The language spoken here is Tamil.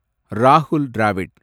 ராஹுல் டிராவிட்